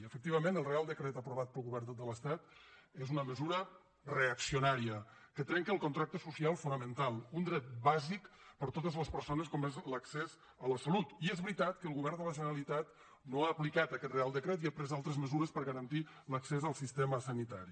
efectivament el reial decret aprovat pel govern de l’estat és una mesura reaccio nària que trenca el contracte social fonamental un dret bàsic per a totes les persones com és l’accés a la salut i és veritat que el govern de la generalitat no ha aplicat aquest reial decret i ha pres altres mesures per garantir l’accés al sistema sanitari